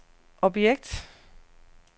objekt